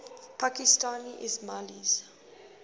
pakistani ismailis